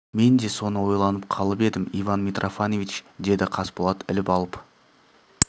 мен де соны ойланып қалып едім иван митрофанович деді қасболат іліп алып